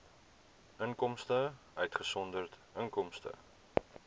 inkomste uitgesonderd inkomste